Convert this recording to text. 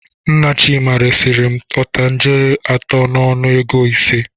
Nne Chima resiri m otangele atọ n'ọnụ ego ise.